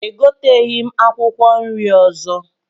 Egoteghị m akwụkwọ nri ọzọ